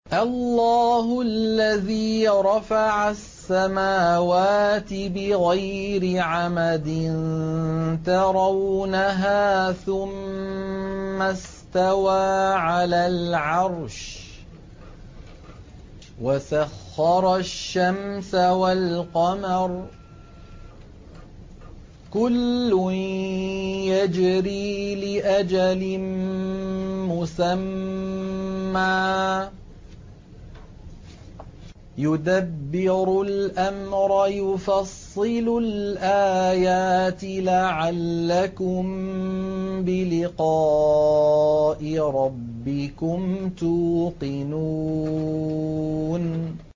اللَّهُ الَّذِي رَفَعَ السَّمَاوَاتِ بِغَيْرِ عَمَدٍ تَرَوْنَهَا ۖ ثُمَّ اسْتَوَىٰ عَلَى الْعَرْشِ ۖ وَسَخَّرَ الشَّمْسَ وَالْقَمَرَ ۖ كُلٌّ يَجْرِي لِأَجَلٍ مُّسَمًّى ۚ يُدَبِّرُ الْأَمْرَ يُفَصِّلُ الْآيَاتِ لَعَلَّكُم بِلِقَاءِ رَبِّكُمْ تُوقِنُونَ